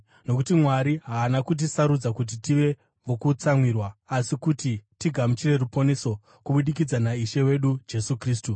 Nokuti Mwari haana kutisarudza kuti tive vokutsamwirwa asi kuti tigamuchire ruponeso kubudikidza naIshe wedu Jesu Kristu.